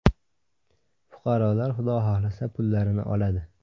Fuqarolar, Xudo xohlasa, pullarini oladi.